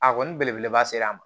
A kɔni belebeleba ser'an ma